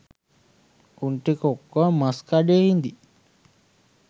උන් ටික ඔක්කොම මස් කඩේ ඉදියි